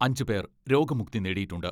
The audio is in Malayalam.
അഞ്ചുപേർ രോഗമുക്തി നേടിയിട്ടുണ്ട്.